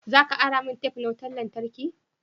Za ka ara min tef na wutan lantarki.